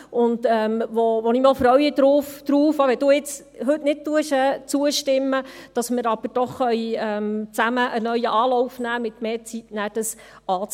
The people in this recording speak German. Ich freue mich darauf, auch wenn Sie heute nicht zustimmen, dass wir doch zusammen einen neuen Anlauf nehmen können, um das mit mehr Zeit anzugehen.